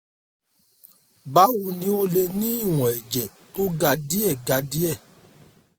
báwo ni o lè ní ìwọ̀n ẹ̀jẹ̀ tó ga díẹ̀ ga díẹ̀